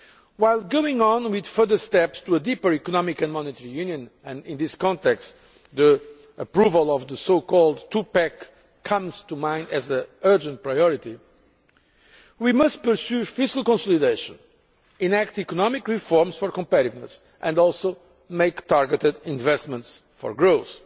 While going on with further steps to a deeper economic and monetary union and in this context the approval of the two pack comes to mind as an urgent priority we must pursue fiscal consolidation, enact economic reforms for competitiveness and also make targeted investments for growth,